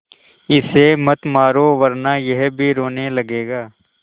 इसे मत मारो वरना यह भी रोने लगेगा